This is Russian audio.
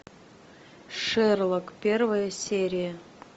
шерлок первая серия